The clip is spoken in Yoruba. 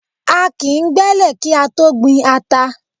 A kìí gbẹ́lẹ̀ kí á tó gbin ata.